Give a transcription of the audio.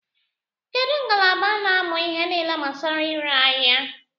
Kedu ngalaba na-amụ ihe nile gbasara ire aḥia?